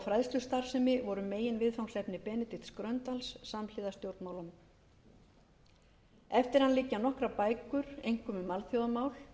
fræðslustarfsemi voru meginviðfangsefni benedikts gröndals samhliða stjórnmálunum eftir hann liggja nokkrar bækur einkum um alþjóðamál